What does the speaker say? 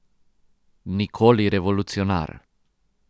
Nikoli revolucionar.